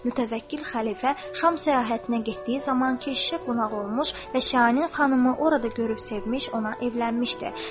Mütəvəkkil xəlifə Şam səyahətinə getdiyi zaman keşişə qonaq olmuş və Şahinin xanımı orada görüb sevmiş, ona evlənmişdi.